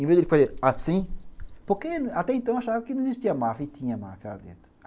Em vez de ele fazer assim, porque até então achava que não existia máfia e tinha máfia lá dentro.